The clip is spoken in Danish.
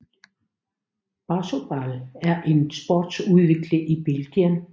Bossaball er en sport udviklet i Belgien